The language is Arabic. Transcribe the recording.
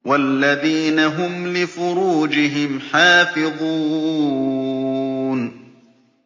وَالَّذِينَ هُمْ لِفُرُوجِهِمْ حَافِظُونَ